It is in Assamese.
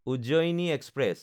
উজ্জয়নী এক্সপ্ৰেছ